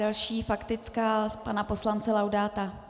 Další faktická pana poslance Laudáta.